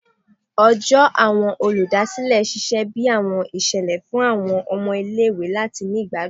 Ọjọ Awọn oludasilẹ ṣiṣẹ bi awọn iṣẹlẹ fun awọn ọmọ ile-iwe lati ni igbadun